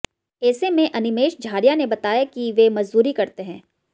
ऐसे में अनिमेश झारिया ने बताया कि वे मजदूरी करते हैं